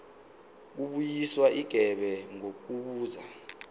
kubuyiswa igebe ngokubuza